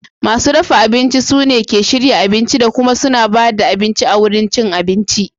Masu dafa abinci sune ke shirya abincin da kuma suna ba da abinci a wurin cin abinci